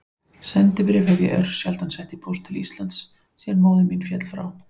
Sendibréf hef ég örsjaldan sett í póst til Íslands síðan móðir mín féll frá.